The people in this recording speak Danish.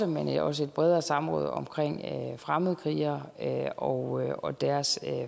men også et bredere samråd om fremmedkrigere og og deres